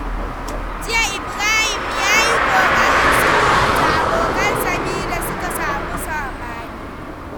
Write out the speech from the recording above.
Jiya, Ibrahim ya yi ƙoƙarin sulhunta abokansa biyu da suka samu saɓani.